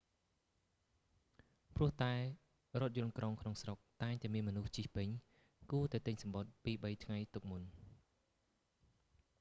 ព្រោះតែរថយន្តក្រុងក្នុងស្រុកតែងតែមានមនុស្សជិះពេញ គួរតែទិញសំបុត្រពីរបីថ្ងៃទុកមុន